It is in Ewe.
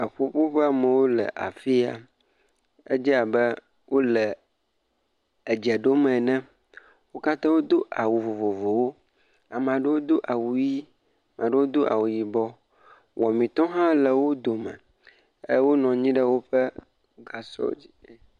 Eƒuƒoƒe, amowo le afi ya, edze abe wole edze ɖom ene, o kata wo do awu vovovowo, amaɖowo do awu ɣie, maɖowo do awu yibɔ, wɔametɔ hã le wi dome, e wo nɔanyi ɖe woƒe gasɔ dzi.